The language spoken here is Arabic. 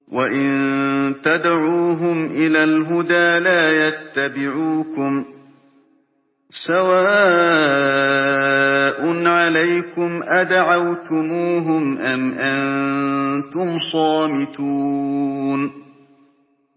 وَإِن تَدْعُوهُمْ إِلَى الْهُدَىٰ لَا يَتَّبِعُوكُمْ ۚ سَوَاءٌ عَلَيْكُمْ أَدَعَوْتُمُوهُمْ أَمْ أَنتُمْ صَامِتُونَ